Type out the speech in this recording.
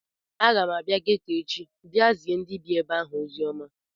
Aga m abịa geto echi bịa zie ndị bie ebe ahụ oziọma